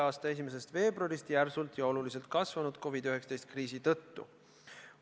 a 1. veebruarist järsult ja oluliselt kasvanud COVID-19 kriisi tõttu.